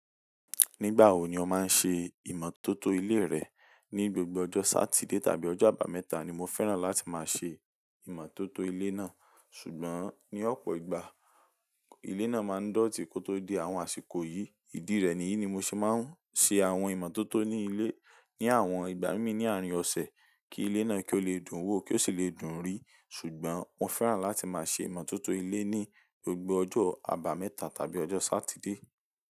Nígbà wo ni o máa ń ṣe ìmọ̀tótó ilé rẹ? Ní gbogbo ọjọ́ Sátidé tàbí ọjọ́ àbámẹ́ta ni mo fẹ́ràn láti máa ṣe ìmọ̀tótó ilé náà, ṣùgbọ́n ní ọ̀pọ̀ ìgbà, ilé náà máa ń dọ̀tí kó tó dé àwọn àsìkò yìí. Ìdí rẹ̀ nìyí ni mo ṣe máa ń ṣe àwọn ìmọ̀tótó ní ilé ní àwọn ìgbà mími ní àárín ọ̀sẹ̀ kí ilé náà kí ó lè dùn wò, kí ó sì lè dùn rí. Ṣùgbọ́n mo fẹ́ràn láti máa ṣe ìmọ̀tótó ilé ní gbogbo ọjọ́ àbámẹ́ta tàbí ọjọ́ Sátidé.